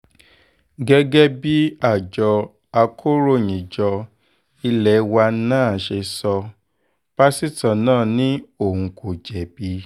gẹ́gẹ́ bí àjọ akòròyìnjọ ilé wa nan ṣe sọ pásítọ̀ náà ni òun kò jẹ̀bi